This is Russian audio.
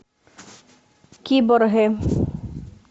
киборги